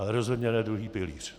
Ale rozhodně ne druhý pilíř.